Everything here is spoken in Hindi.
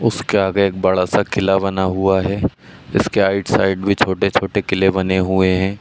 इसके आगे एक बड़ा सा किला बना हुआ है। इसके आइट साइड भी छोटे-छोटे किले बने हुए हैं।